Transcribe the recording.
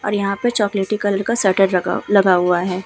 और यहाँ पे चोकलेटी कलर का शटर रका लगा हुआ है।